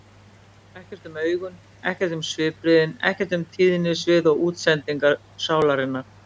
Ekkert um augun, ekkert um svipbrigðin, ekkert um tíðnisvið og útsendingu sálarinnar.